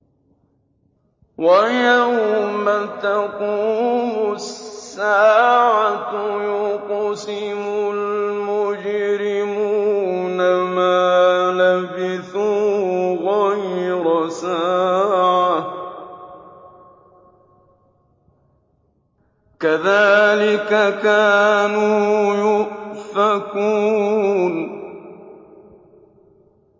وَيَوْمَ تَقُومُ السَّاعَةُ يُقْسِمُ الْمُجْرِمُونَ مَا لَبِثُوا غَيْرَ سَاعَةٍ ۚ كَذَٰلِكَ كَانُوا يُؤْفَكُونَ